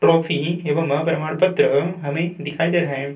Trophy एवं प्रमाण पत्र हमें दिखाई दे रहा है।